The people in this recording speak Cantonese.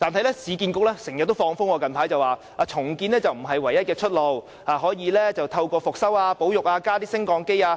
不過，市建局最近經常"放風"，指重建並非唯一出路，還可以進行復修、保育和加裝升降機。